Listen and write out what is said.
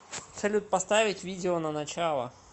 салют поставить видео на начало